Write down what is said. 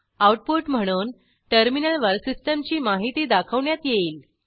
output म्हणून टर्मिनलवर सिस्टीमची माहिती दाखवण्यात येईल